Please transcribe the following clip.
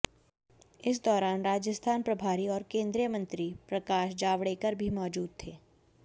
इस दौरान राजस्थान प्रभारी और केंद्रीय मंत्री प्रकाश जावड़ेकर भी मौजूद थे